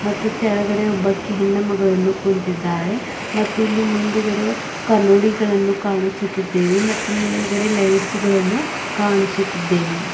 ಮತ್ತು ತೆಳಗಡೆ ಒಬ್ಬಕಿ ಹೆಣ್ಣುಮಗಳನ್ನು ಕುಂತಿದ್ದಾಳೆ ಮತ್ತು ಇಲ್ಲಿ ಮುಂದುಗಡೆ ಕನ್ನೋಡಿಗಳನ್ನು ಕಾಣಿಸುತಿದ್ದೇವೆ ಮತ್ತು ಮೇಲ್ಗಡೆ ಲೈಟ್ಸ್ ಗಳನ್ನು ಕಾಣಿಸುತಿದ್ದೇವೆ.